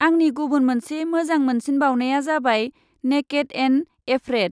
आंनि गुबुन मोनसे मोजां मोनसिनबावनाया जाबाय 'नेकेड एन्ड एफ्रेड'।